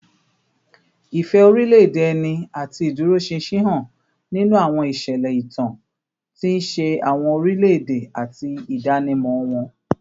Ìfẹ́ orílẹ̀-èdè ẹni àti ìdúróṣinṣin hàn nínú àwọn ìṣẹ̀lẹ̀ ìtàn, tí ń ṣe àwọn orílẹ̀-èdè àti ìdánimọ̀ wọn